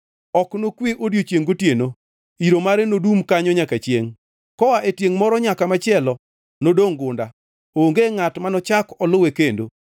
Ok nokwe odiechiengʼ gotieno; iro mare nodum kanyo nyaka chiengʼ. Koa e tiengʼ moro nyaka machielo nodongʼ gunda; onge ngʼat manochak oluwe kendo.